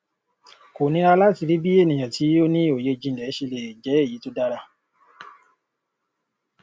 kò nírà láti rí bí ènìyàn tí ó ní òye jìnlẹ ṣe le jẹ èyí tó dára